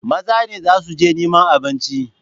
Maza ne za su je neman abinci.